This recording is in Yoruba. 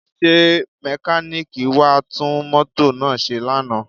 Ṣé mẹkáníìkì wá tún mọ́tò náà ṣe lánàá?